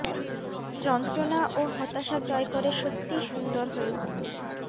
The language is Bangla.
যন্ত্রণা ও হতাশা জয় করে সত্যিই সুন্দর হয়ে উঠুন